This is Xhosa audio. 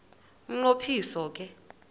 umnqo phiso ke